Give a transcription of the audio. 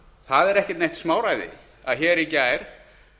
það er ekki neitt smáræði að í gær